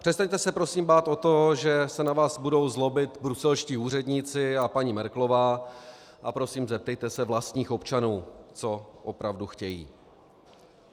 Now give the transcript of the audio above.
Přestaňte se prosím bát o to, že se na vás budou zlobit bruselští úředníci a paní Merkelová, a prosím, zeptejte se vlastních občanů, co opravdu chtějí.